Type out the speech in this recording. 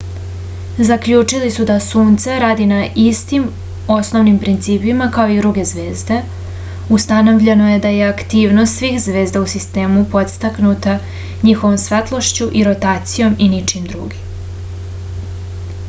zaključili su da sunce radi na istim osnovnim principima kao i druge zvezde ustanovljeno je da je aktivnost svih zvezda u sistemu podstaknuta njihovom svetlošću i rotacijom i ničim drugim